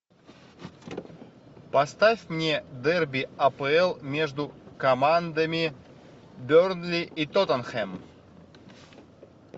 поставь мне дерби апл между командами бернли и тоттенхэм